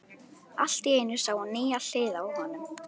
Allt í einu sá hún nýja hlið á honum.